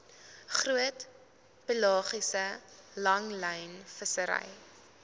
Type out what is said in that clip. groot pelagiese langlynvissery